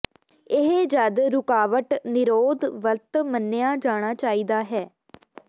ਇਹ ਜਦ ਰੁਕਾਵਟ ਨਿਰੋਧ ਵਰਤ ਮੰਨਿਆ ਜਾਣਾ ਚਾਹੀਦਾ ਹੈ